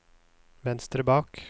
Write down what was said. venstre bak